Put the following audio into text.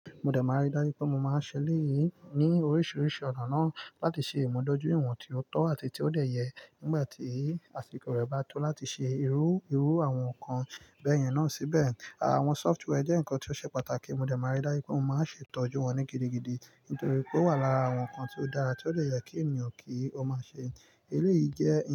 Mo dẹ̀ máa rí dájú pé mo máa ń ṣẹlẹ̀ yìí ní oríṣiríṣi ọ̀nà náà láti ṣe ìmùdójúìwọ̀n tí ó tọ́ àti tí ó dé yẹ nígbà tí àsìkò rẹ̀ bá tó láti ṣe irú-irú àwọn nǹkan gbẹ̀yìn náà síbẹ̀. Àwọn software jẹ́ nǹkan tí ó ṣe pàtàkì, mo dẹ̀ máa rí dájú pé mo máa ń ṣètọ́jú wọn ní gidigidi nítorí pé ó wà lára àwọn nǹkan tí ó dára tí ó lè yẹ kí ènìyàn kí ó máa ṣe. Eléyìí jẹ́